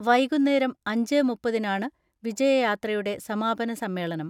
വൈകുന്നേരം അഞ്ചേ മു പ്പതിനാണ് വിജയയാത്രയുടെ സമാപന സമ്മേളനം.